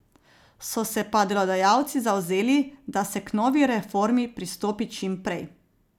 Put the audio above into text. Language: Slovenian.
So se pa delodajalci zavzeli, da se k novi reformi pristopi čim prej.